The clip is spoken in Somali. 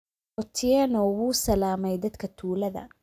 Otieno wuu salaamay dadka tuulada